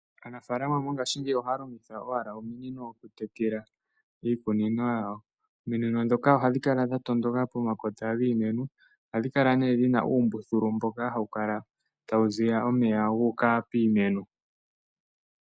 Aafalama mongashingeyi oha ya longitha owala ominino oku tekela iikunino yawo. Ominino ndhoka oha dhi kala dha tondoka pomakota giimeno, oha dhi kala nee dhina uumbuthulu, mboka ha wu kala tawu ziya omeya guuka piimeno.